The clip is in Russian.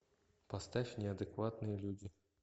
поставь неадекватные люди